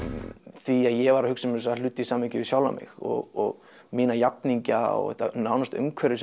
því að ég var að hugsa um þessa hluti í samhengi við sjálfan mig og mína jafningja og þetta nánasta umhverfi